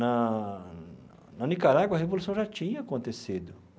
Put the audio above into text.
Na... Na Nicarágua, a revolução já tinha acontecido.